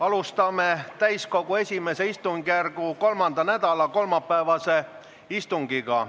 Alustame täiskogu I istungjärgu 3. nädala kolmapäevast istungit.